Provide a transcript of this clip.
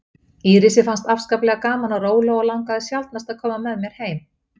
Írisi fannst afskaplega gaman á róló og langaði sjaldnast að koma með mér heim.